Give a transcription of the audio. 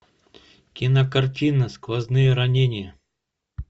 кинокартина сквозные ранения